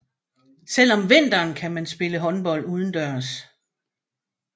Selv om vinteren kan man spille håndbold udendørs